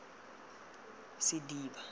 sediba